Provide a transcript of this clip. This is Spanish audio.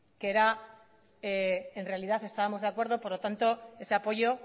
que en realidad estábamos de acuerdo por lo tanto ese apoyo